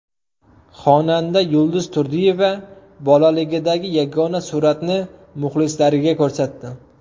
Xonanda Yulduz Turdiyeva bolaligidagi yagona suratni muxlislariga ko‘rsatdi.